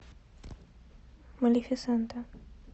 малефисента